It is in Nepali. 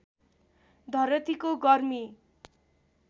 धरतीको गर्मी